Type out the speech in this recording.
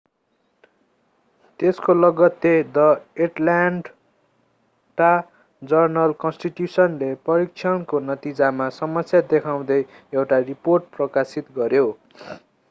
त्यसको लगत्तै the Atlanta जर्नल-कन्स्टिट्यूशनले परीक्षणको नतिजामा समस्या देखाउँदै एउटा रिपोर्ट प्रकाशित गर्‍यो।